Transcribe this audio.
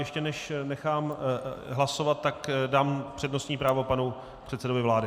Ještě než nechám hlasovat, tak dám přednostní právo panu předsedovi vlády.